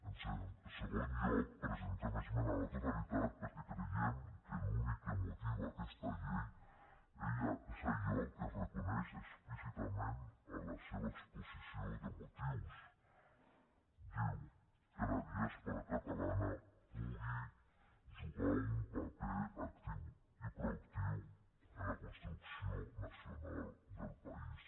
en segon lloc presentem esmena a la totalitat perquè creiem que l’únic que motiva aquesta llei és allò que es reconeix explícitament en la seva exposició de motius diu que la diàspora catalana pugui jugar un paper actiu i proactiu en la construcció nacional del país